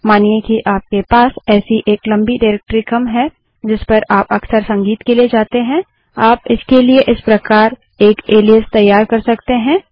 मानिए कि आपके पास ऐसी एक लम्बी डाइरेक्टरी क्रम है जिस पर आप अक्सर संगीत के लिए जाते हैं आप इसके लिए इस प्रकार एक एलाइस तैयार कर सकते हैं